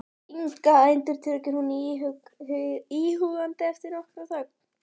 Inga, endurtekur hún íhugandi eftir nokkra þögn.